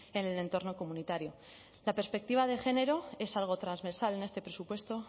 en el entorno comunitario la perspectiva de género es algo transversal en este presupuesto